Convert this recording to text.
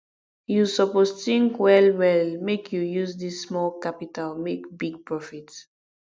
you suppose tink wellwell make you use dis small capital make big profit